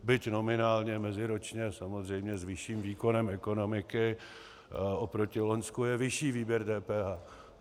Byť nominálně, meziročně samozřejmě s vyšším výkonem ekonomiky oproti loňsku je vyšší výběr DPH.